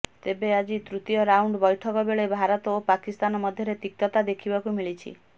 ତେବେ ଆଜି ତୃତୀୟ ରାଉଣ୍ଡ ବୈଠକ ବେଳେ ଭାରତ ଓ ପାକିସ୍ତାନ ମଧ୍ୟରେ ତିକ୍ତତା ଦେଖିବାକୁ ମିଳିଛି